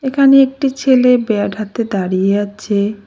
এখানে একটি ছেলে ব্যাট হাতে দাঁড়িয়ে আছে।